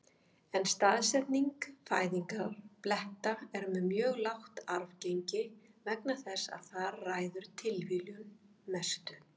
En staðsetning fæðingarbletta er með mjög lágt arfgengi vegna þess að þar ræður tilviljun mestu.